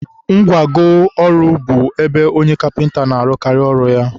ngwago ọrụ bụ ebe onye kapịnta na-arụkarị ọrụ ya.